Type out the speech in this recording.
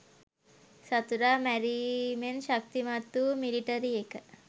සතුරා මැරීමෙන් ශක්තිමත් වූ මිලිටරි එක